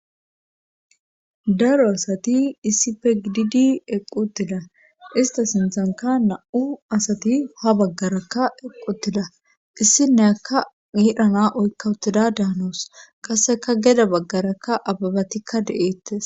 daro asati issipe gididi eqqutida ista sinthanka na7u asati ha baggarakka equtida issinne akka miedhana oykkawutida daanoos qaseka geda baggarakka ababatikka de7eettes